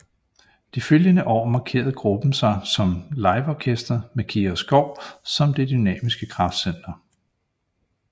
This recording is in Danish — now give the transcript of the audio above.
De følgende år markerede gruppen sig som liveorkester med Kira Skov som det dynamiske kraftcenter